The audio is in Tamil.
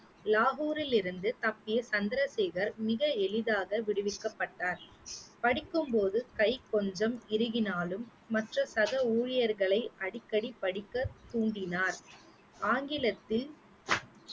லாகூரில் இருந்து தப்பிய சந்திரசேகர் மிக எளிதாக விடுவிக்கப்பட்டார், படிக்கும் போது கை கொஞ்சம் இறுகினாலும் மற்ற சக ஊழியர்களை அடிக்கடி படிக்க தூண்டினார் ஆங்கிலத்தில்